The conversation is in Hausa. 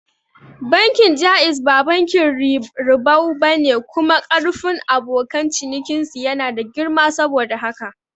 Bankin Jaiz ba bankin ribau bane kuma karfin abokan cinikin su yana da girma saboda haka